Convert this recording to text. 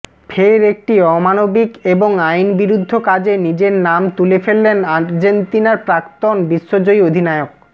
ফের একটি অমানবিক এবং আইন বিরুদ্ধ কাজে নিজের নাম তুলে ফেললেন আর্জেন্তিনার প্রাক্তন বিশ্বজয়ী অধিনায়ক